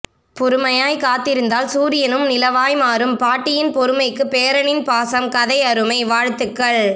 பொறுமையாய் காத்திருந்தால் சூரியனும் நிலவாய் மாறும் பாட்டியின் பொறுமைக்கு பேரனின் பாசம் கதை அருமை வாழ்த்துக்கள்